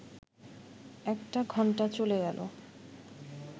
একটা ঘণ্টা চলে গেল